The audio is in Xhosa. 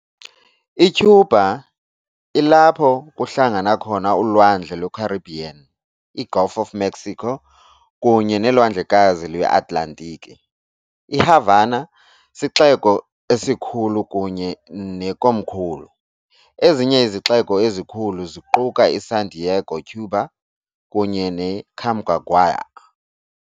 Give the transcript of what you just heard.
ICuba ilapho kuhlangana khona uLwandle lweCaribbean, iGulf of Mexico, kunye neLwandlekazi lweAtlantiki. IHavana sixeko sikhulu kunye nekomkhulu, ezinye izixeko ezikhulu ziquka iSantiago de Cuba kunye neCamagüey.